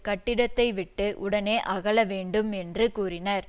கட்டிடத்தைவிட்டு உடனே அகல வேண்டும் என்று கூறினர்